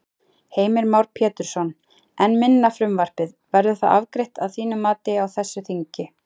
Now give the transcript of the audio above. Heimir Már Pétursson: En minna frumvarpið, verður það afgreitt að þínu mati á þessu þingi?